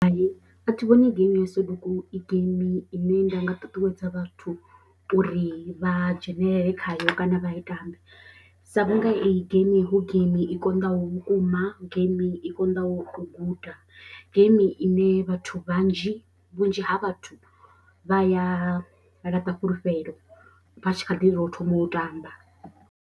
Hai a thi vhoni geimi yo Soduku i geimi ine nda nga ṱuṱuwedza vhathu uri vha dzhenelele khayo kana vha i tambe sa vhunga eyi geimi hu geimi i konḓaho vhukuma, geimi i konḓaho u guda, geimi ine vhathu vhanzhi vhunzhi ha vhathu vha ya laṱa fhulufhelo vha tshi kha ḓivha tou thoma u tamba.